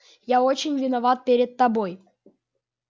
я очень виноват перед тобой